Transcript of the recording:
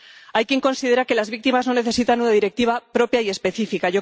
Hay quien considera que las víctimas no necesitan una directiva propia y específica